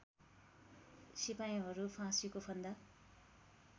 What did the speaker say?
सिपाहीहरू फाँसीको फन्दा